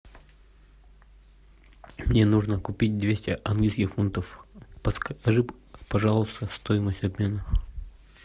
мне нужно купить двести английских фунтов подскажи пожалуйста стоимость обмена